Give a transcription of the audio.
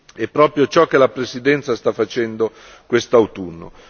È proprio ciò che la presidenza sta facendo quest'autunno.